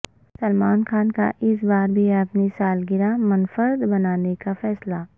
سلمان خان کا اس بار بھی اپنی سالگرہ منفرد بنانے کا فیصلہ